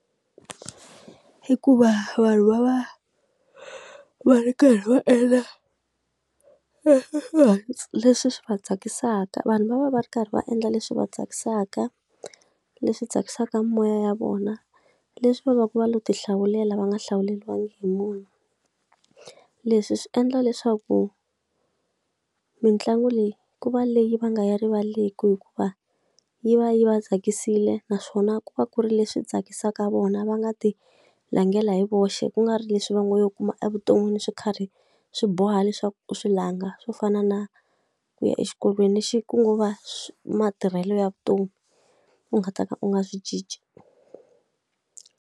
I ku va vanhu va va ri karhi va endla leswi swi va vanhu va va va ri karhi va endla leswi va tsakisaka, leswi tsakisaka moya ya vona, leswi va va ku va lo ti hlawulela va nga hlawuleriwangi hi munhu. Leswi swi endla leswaku mitlangu leyi ku va leyi va nga yi rivaleki hikuva yi va yi va tsakisile naswona ku va ku ri leswi tsakisaka vona va nga ti langhela hi voxe. Ku nga ri leswi va ngo yo kuma evuton'wini swo karhi swi boha leswaku u swi langha, swo fana na ku ya exikolweni lexi ko va matirhelo ya vutomi u nga ta ka u nga swi cinci.